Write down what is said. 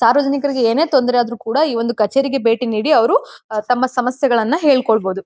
ಸಾರ್ವಜನಿಕರಿಗೆ ಏನೇ ತೊಂದರೆ ಯಾದ್ರು ಕೂಡ ಈ ಒಂದು ಕಚೇರಿಗೆ ಭೇಟಿ ನೀಡಿ ಅವರು ತಮ್ಮ ಸಮಸ್ಯೆಗಳನ್ನ ಹೇಳ್ಕೊಳ್ಳಬಹುದು.